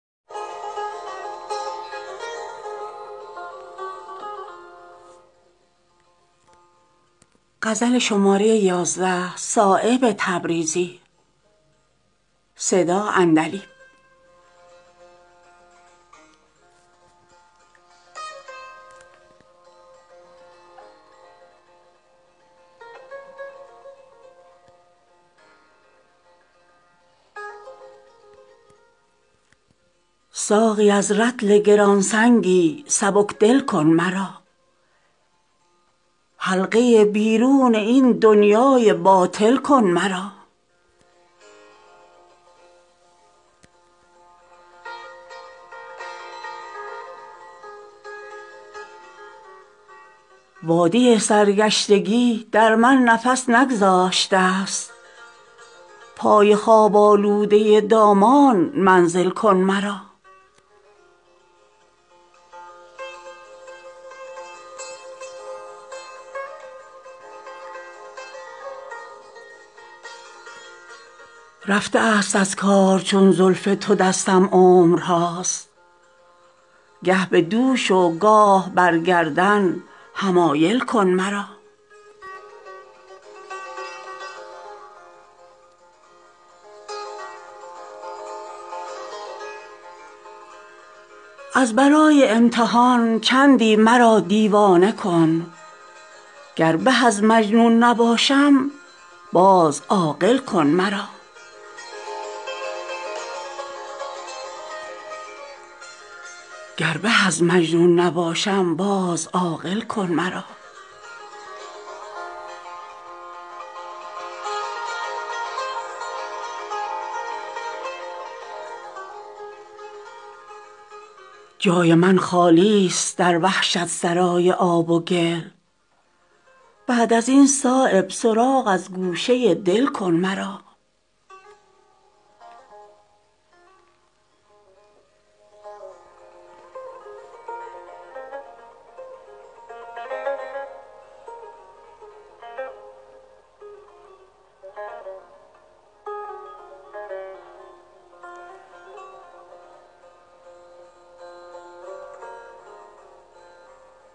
ساقی از رطل گرانسنگی سبکدل کن مرا حلقه بیرون این دنیای باطل کن مرا وادی سرگشتگی در من نفس نگذاشته است پای خواب آلوده دامان منزل کن مرا رفته است از کار چون زلف تو دستم عمرهاست گه به دوش و گاه بر گردن حمایل کن مرا دور باش من بود بس بی قراری چون سپند گر گرانجانی کنم بیرون ز محفل کن مرا تیزی تیغ است بر قربانیان عید دگر چون نمی بخشی به تیغ غمزه بسمل کن مرا از برای امتحان چندی مرا دیوانه کن گر به از مجنون نباشم باز عاقل کن مرا بنده را گستاخ می سازد حضور دایمی مرحمت کن گاه گاه از خویش غافل کن مرا جای من خالی است در وحشت سرای آب و گل بعد ازین صایب سراغ از گوشه دل کن مرا